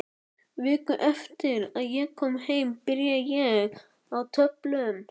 Viku eftir að ég kom heim byrjaði ég á töflum.